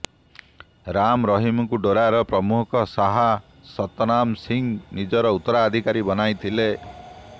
ରାମ ରହିମଙ୍କୁ ଡେରାର ପ୍ରମୁଖ ଶାହ ସତନାମ ସିଂହ ନିଜର ଉତ୍ତରାଧିକାରୀ ବନାଇଥିଲେ